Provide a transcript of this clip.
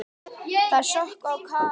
Þær sökkva á kaf í hans.